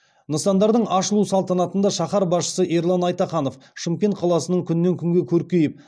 нысандардың ашылу салтанатында шаһар басшысы ерлан айтаханов шымкент қаласының күннен күнге көркейіп